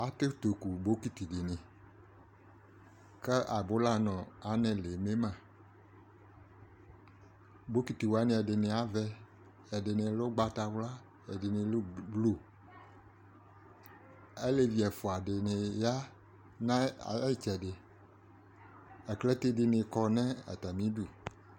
aké toku bokiti dini ka abula nu anɛ lé mé mã bokiti wani ɛdini avɛ ɛdini lɛ ugbata wla ɛdini lɛ blu alévi ɛfua dini ya na ayitsɛdi aklaté dini kɔ nu atami du